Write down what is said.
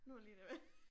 Nu det lige det